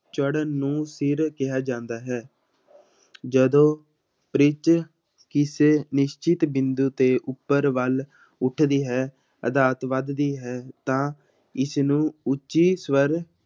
ਚੜਨ ਨੂੰ ਕਿਹਾ ਜਾਂਦਾ ਹੈ ਜਦੋਂ ਪਿੱਚ ਕਿਸੇ ਨਿਸ਼ਚਿਤ ਬਿੰਦੂ ਤੇ ਉੱਪਰ ਵੱਲ ਉੱਠਦੀ ਹੈ, ਅਰਥਾਤ ਵੱਧਦੀ ਹੈ ਤਾਂ ਇਸਨੂੰ ਉੱਚੀ ਸਵਰ